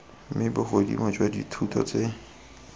mme bogodimo jwa dithoto tseo